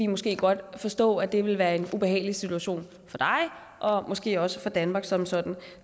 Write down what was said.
måske godt forstå at det ville være en ubehagelig situation for dig og måske også for danmark som sådan